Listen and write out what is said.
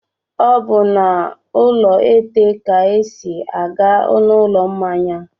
Ọ bụ n'ụlọ ètè ka e si aga n'ụlọ mmanya.